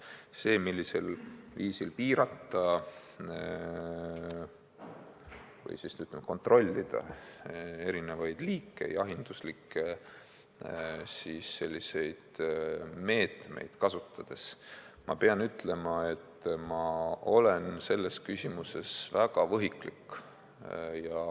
See, millisel viisil piirata või kontrolli all hoida erinevate jahiloomade arvu, milliseid meetmeid kasutada – ma pean ütlema, et ma olen selles küsimuses võhik.